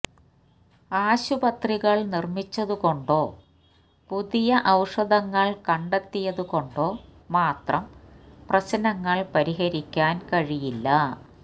ആശുപത്രികള് നിര്മ്മിച്ചതുകൊണ്ടോ പുതിയ ഔഷധങ്ങള് കണ്ടെത്തിയതുകൊണ്ടോ മാത്രം പ്രശ്നങ്ങള് പരിഹരിക്കാന് കഴിയില്ല